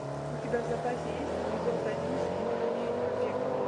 у тебя в запасе есть эпизод один сезона девять побег